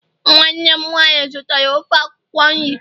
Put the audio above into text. nwanne m nwanyi zụtara ofe akwukwo nri